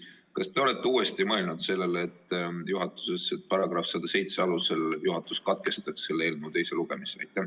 Kas te olete uuesti mõelnud sellele juhatuses, et § 107 alusel võiks juhatus katkestada selle eelnõu teise lugemise?